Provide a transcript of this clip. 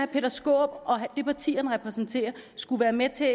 peter skaarup og det parti han repræsenterer skulle være med til